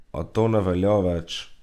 A to ne velja več.